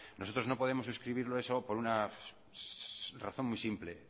nosotros no podemos suscribirle eso por una razón muy simple